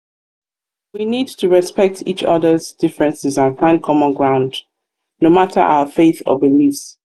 we need to respect respect each oda's differences and find common ground no matter our faith or beliefs.